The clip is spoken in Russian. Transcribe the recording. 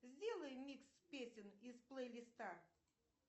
сделай микс песен из плейлиста